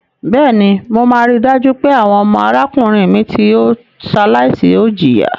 Bẹ́ẹ̀ni, mo máa rí dájú pé àwọn ọmọ arákùnrin mi tí ó ṣaláìsí ò jìyà.